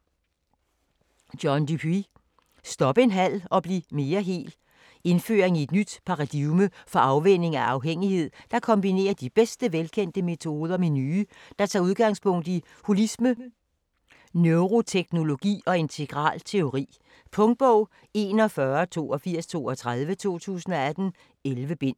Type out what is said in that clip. Dupuy, John: Stop en halv og bliv mere hel Indføring i et nyt paradigme for afvænning af afhængighed, der kombinerer de bedste velkendte metoder med nye, der tager udgangspunkt i holisme, neuroteknologi og integral teori. Punktbog 418232 2018. 11 bind.